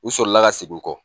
U sɔrɔla ka sigi kɔ